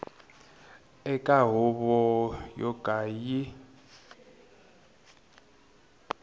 eka huvo yo ka yi